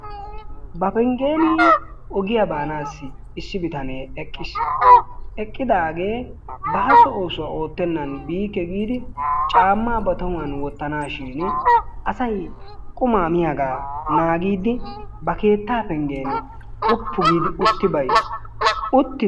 Ba pengeeni ogiya baanaassi issi bitanee eqqis. Eqqidaagee baaso oosuwa oottannan biikke giidi caammaa ba tohuwan wottanaashshiini asay qumaa miyaagaa naagiiddi ba keetta pengen woppu giidi utti bayis. Utti...